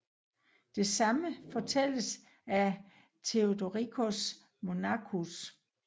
Det samme fortælles af Theodoricus Monachus